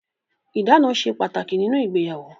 Ìdána ṣe pàtàkì nínú ìgbéyàwó.